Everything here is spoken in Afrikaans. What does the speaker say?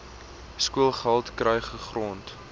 skoolgeld kry gegrond